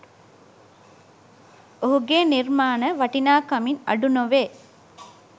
ඔහුගේ නිර්මාණ වටිනාකමින් අඩු නොවේ